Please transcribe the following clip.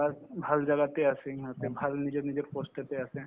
plus ভাল জাগাতে আছে সিহঁতে ভাল নিজৰ নিজৰ post তে আছে